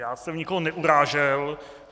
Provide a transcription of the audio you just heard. Já jsem nikoho neurážel.